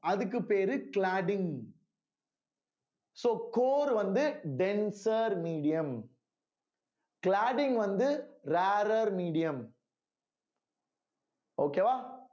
அதுக்கு பேரு cladding so core வந்து denser medium cladding வந்து rarer medium okay வா